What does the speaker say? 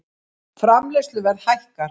Framleiðsluverð hækkar